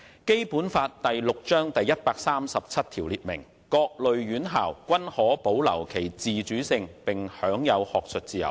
《基本法》第六章第一百三十七條列明："各類院校均可保留其自主性並享有學術自由"。